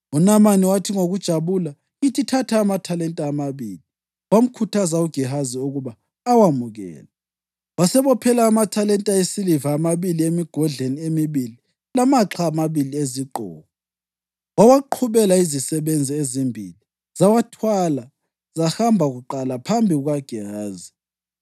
UNamani wathi, “Ngokujabula, ngithi thatha amathalenta amabili.” Wamkhuthaza uGehazi ukuba awamukele, wasebophela amathalenta esiliva amabili emigodleni emibili, lamaxha amabili ezigqoko. Wawaqhubela izisebenzi ezimbili, zawathwala zahamba kuqala phambi kukaGehazi.